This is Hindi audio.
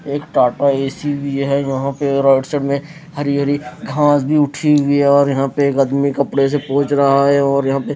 वहां पे और राइट साइड में हरी हरी घांस भी उठी हुई है और यहां पे एक अदमी कपड़े से पोंछ रहा है और यहां पे--